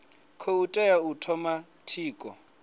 khou tea u thoma tshiko